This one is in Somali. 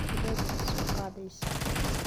Sideed isu qaadaysaa?